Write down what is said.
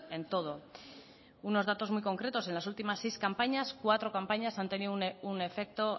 en todo unos datos muy concretos en las últimas seis campañas cuatro campañas han tenido un efecto